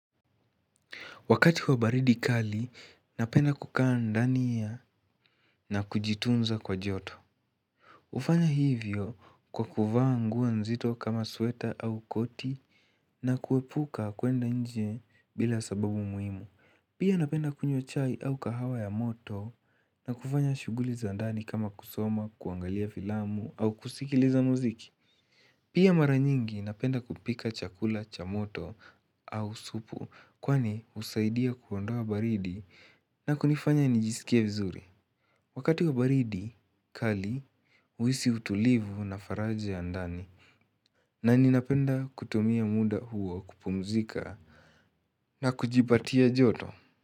Wakati wa baridi kali, napenda kukaa ndani na kujitunza kwa joto. Hufanya hivyo kwa kuvaa nguo nzito kama sweta au koti na kuepuka kuenda nje bila sababu muhimu. Pia napenda kunywa chai au kahawa ya moto na kufanya shughuli za ndani kama kusoma, kuangalia filamu au kusikiliza muziki. Pia mara nyingi napenda kupika chakula cha moto au supu kwani husaidia kuondoa baridi na kunifanya nijisikie vizuri. Wakati wa baridi, kali, huisi utulivu na faraja ya ndani na ninapenda kutumia muda huo kupumzika na kujipatia joto.